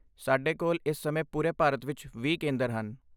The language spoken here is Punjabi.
ਸਾਡੇ ਕੋਲ ਇਸ ਸਮੇਂ ਪੂਰੇ ਭਾਰਤ ਵਿੱਚ ਵੀਹ ਕੇਂਦਰ ਹਨ